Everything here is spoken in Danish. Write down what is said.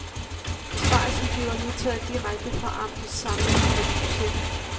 Besparelsen bliver nu taget direkte fra amtets samlede driftsbudget.